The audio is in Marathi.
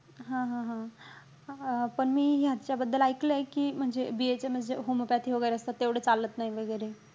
हा-हा-हा. अं पण मी ह्याचा बद्दल ऐकलंय कि, म्हणजे BHMS जे homepathy वगैरे असतात ते एवढे चालत नाही वगैरे.